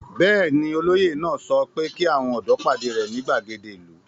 Bẹ́ẹ̀ ni, olóyè náà sọ pé kí àwọn ọ̀dọ́ pàdé rẹ̀ ní ìgbàgede ìlú.